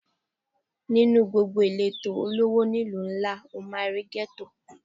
Nínú gbogbo ìletò olówó ni ìlú ńlá, o máa rí Gétò.